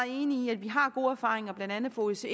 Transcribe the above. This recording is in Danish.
enig i at vi har gode erfaringer blandt andet fra osce